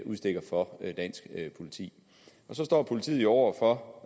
udstikker for dansk politi så står politiet jo over for